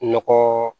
Nɔgɔ